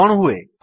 କଣ ହୁଏ